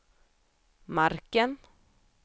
marken